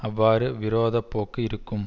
அவ்வாறு விரோத போக்கு இருக்கும்